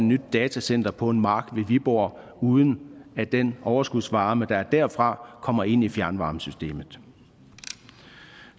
nyt datacenter på en mark ved viborg uden at den overskudsvarme der stammer derfra kommer ind i fjernvarmesystemet